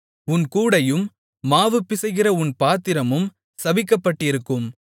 உன் கூடையும் மாவு பிசைகிற உன் பாத்திரமும் சபிக்கப்பட்டிருக்கும்